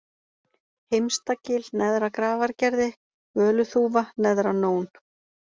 Heimstagil, Neðra-Grafargerði, Völuþúfa, Neðra-Nón